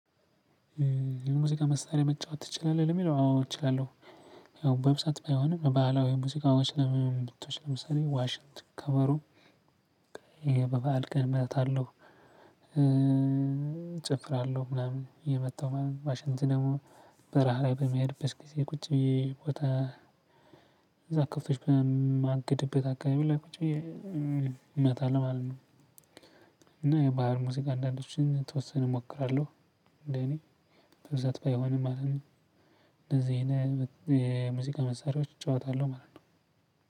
የሙዚቃ መሳሪያ መጫወት ትችላለህ ለሚለው አዎ እችላለሁ። ያው በብዛት ባይሆንም ባህላዊ የሙዚቃ ዋሽት ብብብ ብትወስድ ለምሳሌ ዋሽንት ከበሮ። ይሄ በበዓል ቀን እመታለሁ እጨፍራለሁ ምናምን እየመታው ማለት ነው። ዋሽት ደሞ በረሀ ላይ በሚሄድበት ጊዜ ቁጭ ብዬ ቦታ። እዛ ከብቶች በማግድበት አካባቢ ላይ ቁጭ ብዬ እመታለሁ ማለት ነው። እና የባህር ሙዚቃ አንዳንዶችን የተወሰነ እሞክራለሁ። እንዴ እኔ በብዛት ባይሆንም ማለት ነው። እንደዚህ የሙዚቃ መሳሪያዎች እጨዋታለሁ ማለት ነው።